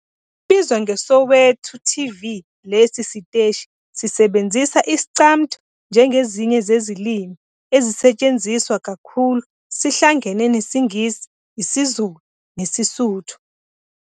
Sibizwa ngeSowetoTV, lesi siteshi sisebenzisa Iscamtho njengezinye zezilimi ezisetshenziswa kakhulu, sihlangene nesiNgisi, isiZulu nesiSotho.